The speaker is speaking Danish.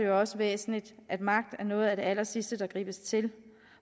også væsentligt at magt er noget af det allersidste der gribes til